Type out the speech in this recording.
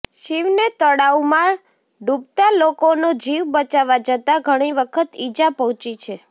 શિવને તળાવમાં ડૂબતાલોકોનો જીવ બચાવવા જતાં ઘણી વખત ઈજા પહોંચી છે